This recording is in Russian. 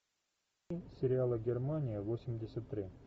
сериала германия восемьдесят три